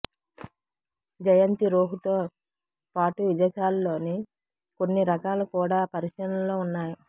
జయంతి రోహుతో పాటు విదేశాల్లోని కొన్ని రకాలు కూడా పరిశీలనలో ఉన్నాయి